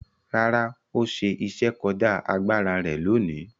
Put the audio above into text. Rárá, ó ṣe iṣẹ́ kọjá agbára rẹ̀ lóòní?